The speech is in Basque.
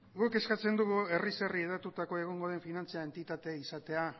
guk eskatzen dugu herriz herri hedatuta egongo den finantza entitatea izatea